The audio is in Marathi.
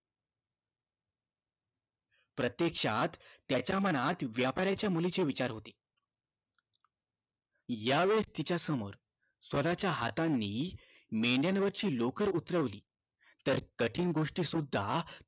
प्रत्यक्षात त्याच्या मनात व्यापाराच्या मुलीचे विचार होते या वेळेस तिच्या समोर स्वतःच्या हाताने मेंढ्यावरची लोकर उतरवली तर कठीण गोष्टी सुद्धा